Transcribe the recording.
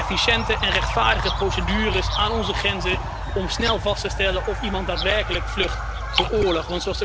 Efficiënte en rechtvaardige procedures aan onze grenzen om snel vast te stellen of iemand daadwerkelijk vlucht voor oorlog.